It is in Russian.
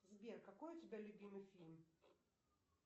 сбер какой у тебя любимый фильм